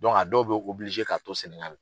a dɔw bi k'a to Sɛnɛgali